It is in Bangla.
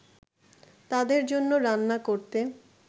তাদের জন্য রান্না করতে